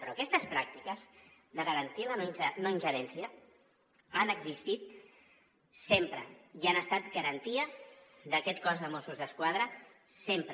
però aquestes pràctiques de garantir la no ingerència han existit sempre i han estat garantia d’aquest cos de mossos d’esquadra sempre